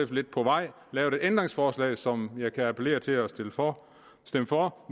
lidt på vej lavet et ændringsforslag som jeg kan appellere til at man stemmer for